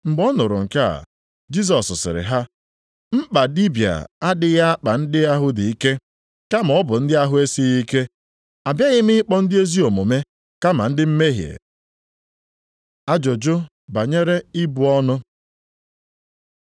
Mgbe ọ nụrụ nke a, Jisọs sịrị ha, “Mkpa dibịa adịghị akpa ndị ahụ dị ike, kama ọ bụ ndị ahụ na-esighị ike. Abịaghị m ịkpọ ndị ezi omume kama ndị mmehie.” Ajụjụ banyere ibu ọnụ